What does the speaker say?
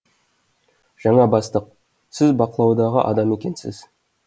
жаңа бастық сіз бақылаудағы адам екенсіз